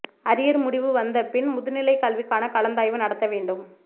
arrear முடிவு வந்த பின் முதுநிலை கல்விக்கான கலந்தாய்வு நடத்த வேண்டும்